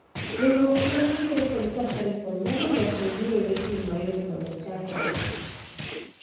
Riuruok mantiere kod Safaricom nyalo loso zero-rating mayot mondo ochakre.